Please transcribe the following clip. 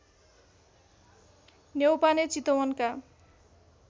Neupane चितवनका